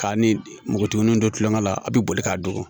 K'a ni npogotigininw don tulonŋɛ la a be boli k'a dogo